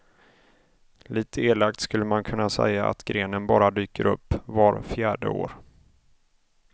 Lite elakt skulle man kunna säga att grenen bara dyker upp var fjärde år.